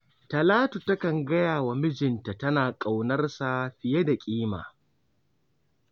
Talatu takan gaya wa mijinta cewa tana ƙaunarsa fiye da kima.